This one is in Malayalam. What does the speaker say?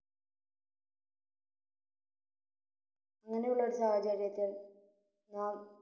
അങ്ങനെയുള്ളൊരു സായാഹചര്യത്തിൽ നാം